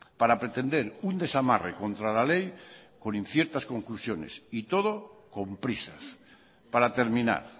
para pretender un desamarre contra la ley con inciertas conclusiones y todo con prisas para terminar